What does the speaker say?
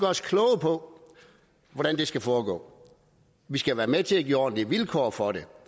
os kloge på hvordan det skal foregå vi skal være med til at give ordentlige vilkår for det